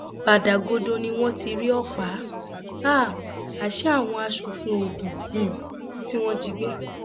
bàdàgodo ni wọn ti rí ọpá um àṣẹ àwọn aṣòfin ogun um tí wọn jí gbé